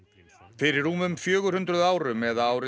fyrir rúmum fjögur hundruð árum eða árið